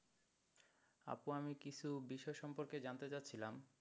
আপু আমি কিছু বিষয় সম্পর্কে জানতে চাচ্ছিলাম,